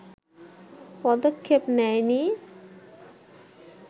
পদক্ষেপ নেয়নি